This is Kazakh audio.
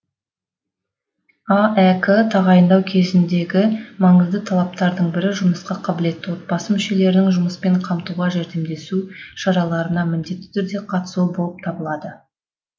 аәк тағайындау кезіндегі маңызды талаптардың бірі жұмысқа қабілетті отбасы мүшелерінің жұмыспен қамтуға жәрдемдесу шараларына міндетті түрде қатысуы болып табылады